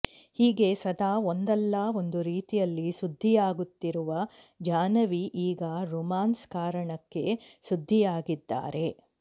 ಹೀಗೆ ಸದಾ ಒಂದಲ್ಲ ಒಂದು ರೀತಿಯಲ್ಲಿ ಸುದ್ದಿಯಾಗುತ್ತಿರುವ ಜಾಹ್ನವಿ ಈಗ ರೋಮಾನ್ಸ್ ಕಾರಣಕ್ಕೆ ಸುದ್ದಿಯಾಗಿದ್ದಾರೆ